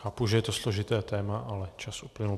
Chápu, že je to složité téma, ale čas uplynul.